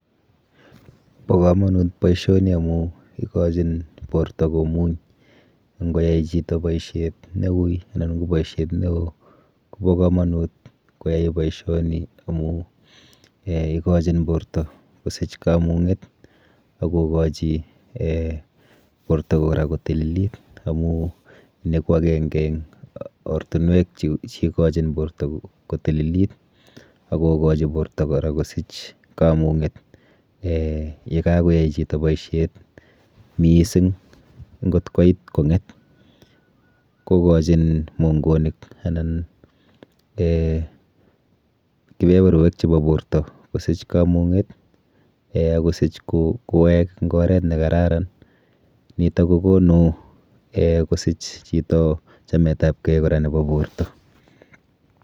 Bo komonut boisoni amu ikochin borto komuny. Ng'oyai chito boisiet neuiy, anan ko boisiet neoo, ko bo komonut koyai boisioni amu um ikochin borto kosich kamung'et akokochi um borto kora kotililit. Amuu ni ko ageng'e ortinwek che ikochin borto kotililit. Agokochi borto kora kosich kamung'et, um ye kakoai chito boisiet mising, ng'ot koit kong'et, kokochin mong'onet anan um kibeberowek chebo borto kosich kamung'et, um akosich kowek eng' oret ne kararan. Nitok kokonu um kosich chito chametabkey kora nebo borto.